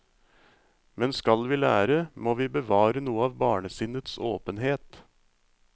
Men skal vi lære, må vi bevare noe av barnesinnets åpenhet.